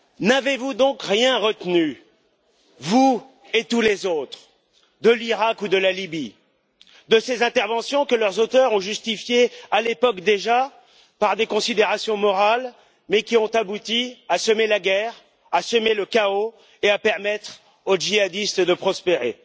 N'avez vous donc rien retenu, vous et tous les autres, de l'Iraq ou de la Libye, de ces interventions que leurs auteurs ont justifiées à l'époque déjà par des considérations morales mais qui ont abouti à semer la guerre, à semer le chaos et à permettre aux djihadistes de prospérer?